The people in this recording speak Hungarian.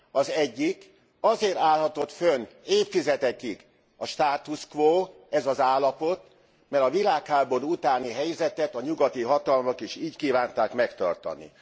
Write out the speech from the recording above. Az egyik, azért állhatott fönn évtizedekig a status quo, ez az állapot, mert a világháború utáni helyzetet a nyugati hatalmak is így kívánták megtartani.